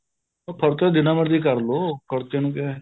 ਖਰਚਾ ਜਿੰਨਾ ਮਰਜੀ ਕਰਲੋ ਖਰਚੇ ਨੂੰ ਕਿਆ ਏ